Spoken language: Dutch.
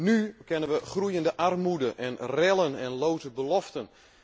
Nu kennen we groeiende armoede, rellen, en loze beloften.